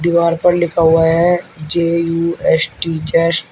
दीवार पर लिखा हुआ है J U S T just.